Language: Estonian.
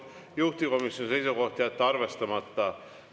Juhtivkomisjoni seisukoht on jätta arvestamata.